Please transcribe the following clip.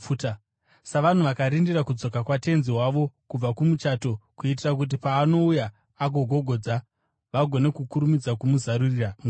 savanhu vakarindira kudzoka kwatenzi wavo kubva kumuchato, kuitira kuti paanouya akagogodza, vagone kukurumidza kumuzarurira mukova.